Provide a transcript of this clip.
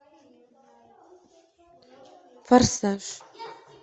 форсаж